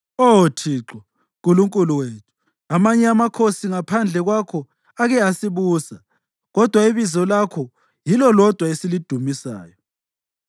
Oh Thixo, Nkulunkulu wethu, amanye amakhosi ngaphandle kwakho ake asibusa, kodwa ibizo lakho yilo lodwa esilidumisayo.